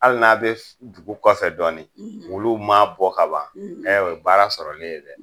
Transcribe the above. Hali n'a bɛ dugu kɔfɛ dɔɔni; ; olu ma bɔ kaban; ; o ye baara sɔrɔlen ye dɛ.